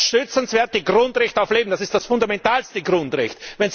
Das schützenswerte Grundrecht auf Leben, das ist das fundamentalste Grundrecht!